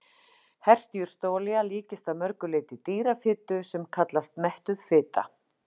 Hert jurtaolía líkist að mörgu leyti dýrafitu sem kallast mettuð fita.